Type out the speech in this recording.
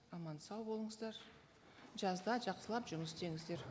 аман сау болыңыздар жазда жақсылап жұмыс істеңіздер